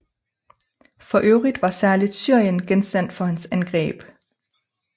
For øvrigt var særligt Syrien genstand for hans angreb